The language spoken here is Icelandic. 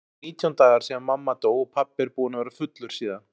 Nú eru nítján dagar síðan mamma dó og pabbi er búinn að vera fullur síðan.